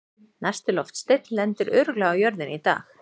Næsti loftsteinn lendir örugglega á jörðinni í dag!